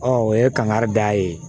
o ye kankari da ye